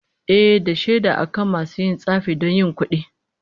Ehh, da shaida akan masu yin tsafi don yin kudi